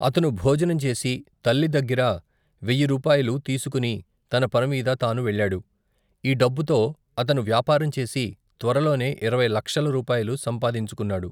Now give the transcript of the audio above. అతను భోజనంచేసి తల్లి దగ్గిర వేయ్యిరూపాయలూ తీసుకుని తన పనిమీద తాను వెళ్ళాడు. ఈ డబ్బుతో అతను వ్యాపారం చేసి త్వరలోనే ఇరవై లక్షల రూపాయలు సంపాదించుకున్నాడు.